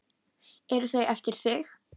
Eru þau eftir þig?